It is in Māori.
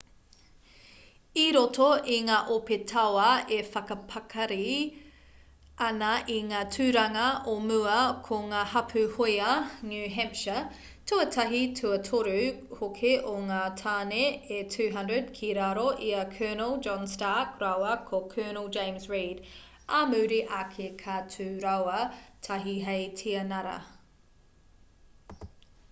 i roto i ngā ope tauā e whakapakari ana i ngā tūranga o mua ko ngā hapū hōia new hampshire tuatahi tuatoru hoki o ngā tāne e 200 ki raro i a colonel john stark rāua ko colonel james reed ā muri ake ka tū rāua tahi hei tianara